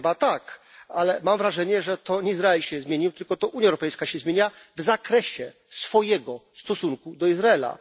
Chyba tak, ale mam wrażenie, że to nie Izrael się zmienił, tylko to Unia Europejska się zmienia w zakresie swojego stosunku do Izraela.